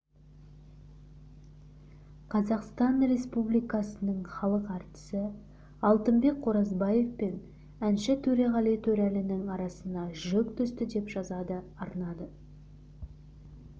қазақстан республикасының халық әртісі алтынбек қоразбаев пен әнші төреғали төреәлінің арасына жік түсті деп жазады арнасына